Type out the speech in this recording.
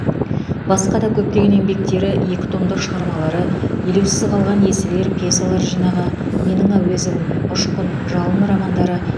басқа да көптеген еңбектері екі томдық шығармалары елеусіз қалған есіл ер пьесалар жинағы менің әуезовым ұшқын жалын романдары